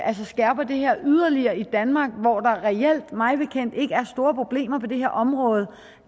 skærper det her yderligere i danmark hvor der reelt mig bekendt ikke er store problemer på det her område